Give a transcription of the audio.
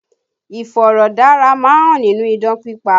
Iforodara má ń hàn nínú idán pípa